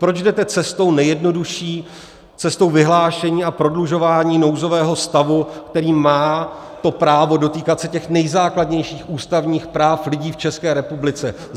Proč jdete cestou nejjednodušší, cestou vyhlášení a prodlužování nouzového stavu, který má to právo dotýkat se těch nejzákladnějších ústavních práv lidí v České republice?